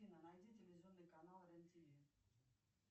афина найди телевизионный канал рен тв